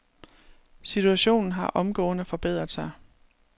Situationen har omgående forbedret sig.